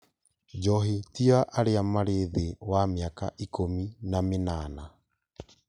Njohi ti ya arĩa marĩ thĩ wa mĩaka ikũmi na mĩnana